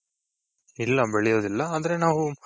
ಇಲ್ಲ ಬೆಳೆಯೋದಿಲ್ಲ ಆದ್ರೆ ನಾವು